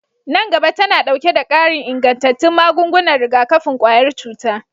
Nan gaba tana ɗauke da ƙarin ingantattun magungunan rigakafin ƙwayar cuta